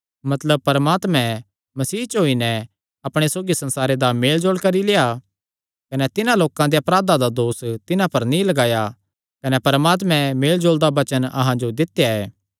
मतलब परमात्मैं मसीह च होई नैं अपणे सौगी संसारे दा मेलजोल करी लेआ कने तिन्हां लोकां दे अपराधां दा दोस तिन्हां पर नीं लगाया कने परमात्मे मेलजोल दा वचन अहां जो दित्या ऐ